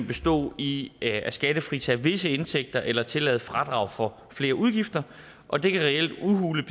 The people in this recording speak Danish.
bestå i at skattefritage visse indtægter eller tillade fradrag for flere udgifter og det kan reelt udhule